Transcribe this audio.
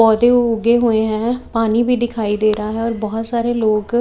पौधे उगे हुए हैं पानी भी दिखाई दे रहा हैं और बहुत सारे लोग--